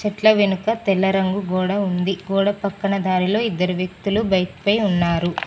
చెట్ల వెనుక తెల్ల రంగు గోడ ఉంది గోడ పక్కన దారిలో ఇద్దరు వ్యక్తులు బైకుపై ఉన్నారు.